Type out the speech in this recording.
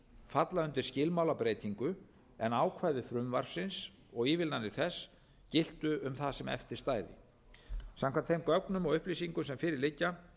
falla undir skilmálabreytingu en ákvæði frumvarpsins og ívilnanir þess giltu um það sem eftir stæði samkvæmt þeim gögnum og upplýsingum sem fyrir liggja